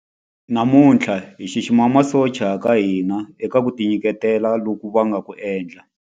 Namuntlha hi xixima masocha ya ka hina eka ku tinyiketela loku va nga ku endla.